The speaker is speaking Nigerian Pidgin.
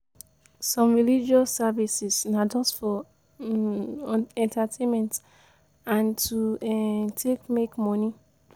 Some religious services they are just for entertainment and to take make money